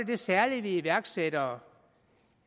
det særlige ved iværksættere